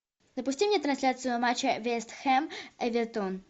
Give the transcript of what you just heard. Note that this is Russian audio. запусти мне трансляцию матча вест хэм эвертон